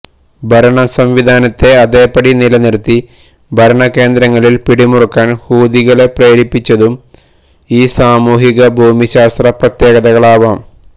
ഭരണ സംവിധാനത്തെ അതേപടി നിലനിര്ത്തി ഭരണകേന്ദ്രങ്ങളില് പിടിമുറുക്കാന് ഹൂഥികളെ പ്രേരിപ്പിച്ചതും ഈ സാമൂഹിക ഭൂമിശാസ്ത്ര പ്രത്യേകതകളാവാം